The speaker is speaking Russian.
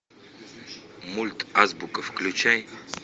мульт азбука включай